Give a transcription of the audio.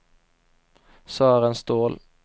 Sören Ståhl